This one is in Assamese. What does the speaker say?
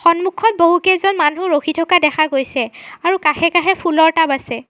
সন্মুখত বহুকেইজন মানুহ ৰখি থকা দেখা গৈছে আৰু কাষে-কাষে ফুলৰ টাব আছে।